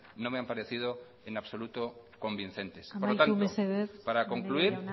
no me han parecido en absoluto convincentes amaitu mesedez maneiro jauna por lo tanto para concluir